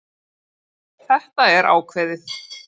Þetta er ákveðið.